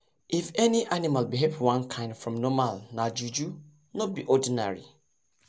if any animal behave one kind from normal nah juju. no be ordinary